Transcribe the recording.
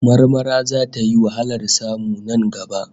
Marmara zata yi wahalar samu nan gaba